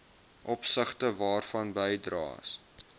opsigte waarvan bydraes